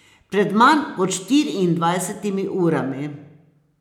Pred manj kot štiriindvajsetimi urami.